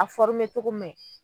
A cogo man ɲi.